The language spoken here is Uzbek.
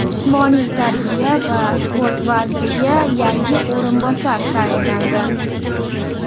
Jismoniy tarbiya va sport vaziriga yangi o‘rinbosar tayinlandi.